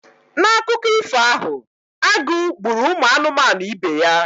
N'akụkọ ifo ahụ, agụ gbụrụ ụmụ anụmanụ ibe ya.